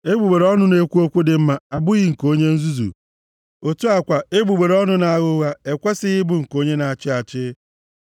Egbugbere ọnụ na-ekwu okwu dị mma abụghị nke onye nzuzu, otu a kwa, egbugbere ọnụ na-agha ụgha ekwesighị ịbụ nke onye na-achị achị.